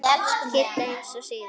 Kidda eins og síðast.